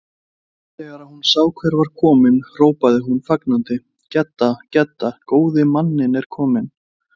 Þegar hún sá hver var kominn hrópaði hún fagnandi: Gedda, Gedda, góði manninn er kominn